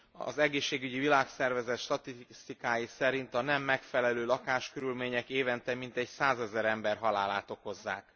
Az Egészségügyi Világszervezet statisztikái szerint a nem megfelelő lakáskörülmények évente mintegy százezer ember halálát okozzák.